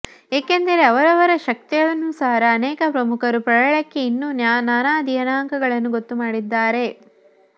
ಏಕೆಂದರೆ ಅವರವರ ಶಕ್ತ್ಯಾನುಸಾರ ಅನೇಕ ಪ್ರಮುಖರು ಪ್ರಳಯಕ್ಕೆ ಇನ್ನೂ ನಾನಾ ದಿನಾಂಕಗಳನ್ನು ಗೊತ್ತುಮಾಡಿದ್ದಾರೆ